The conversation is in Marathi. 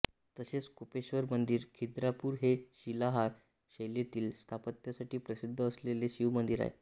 तसेच कोपेश्वर मंदिर खिद्रापूर हे शिलाहार शैलीतील स्थापत्यासाठी प्रसिद्ध असलेले शिवमंदिर आहे